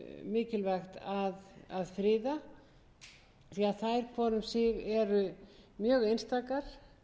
mikilvægt að friða því að þær hvor um sig eru mjög einstakar